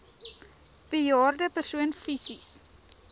bejaarde persoon fisies